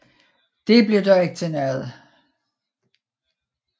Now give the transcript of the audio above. Det blev dog ikke til noget